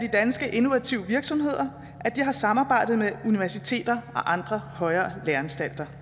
innovative virksomheder at de har samarbejdet med universiteter og andre højere læreanstalter